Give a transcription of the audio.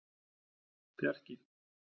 Bjarki